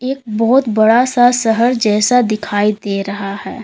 एक बहुत बड़ा सा शहर जैसा दिखाई दे रहा है।